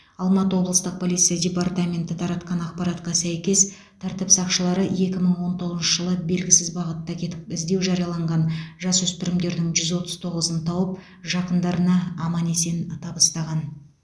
алматы облыстық полиция департаменті таратқан ақпаратқа сәйкес тәртіп сақшылары екі мың он тоғызыншы жылы белгісіз бағытта кетіп іздеу жарияланған жасөспірімдердің жүз отыз тоғызын тауып жақындарына аман есен табыстаған